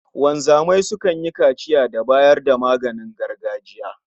Wanzamai sukan yi kaciya da bayar da maganin gargajiya